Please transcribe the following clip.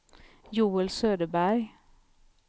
Joel Söderberg